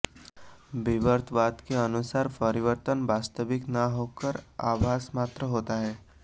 विवर्तवाद के अनुसार परिवर्तन वास्तविक न होकर आभास मात्र होता है